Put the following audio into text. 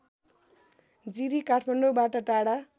जिरी काठमाडौँबाट टाढा